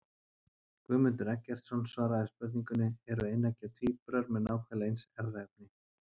Guðmundur Eggertsson svaraði spurningunni Eru eineggja tvíburar með nákvæmlega eins erfðaefni?